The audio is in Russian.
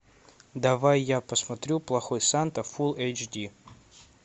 давай я посмотрю плохой санта фулл эйч ди